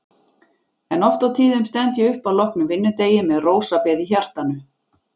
En oft á tíðum stend ég upp að loknum vinnudegi með rósabeð í hjartanu.